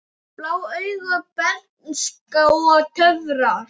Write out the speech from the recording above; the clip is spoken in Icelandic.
Blá augu, bernska og töfrar